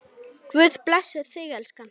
Guð blessi þig, elskan.